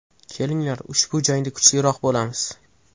Kelinglar, ushbu jangda kuchliroq bo‘lamiz.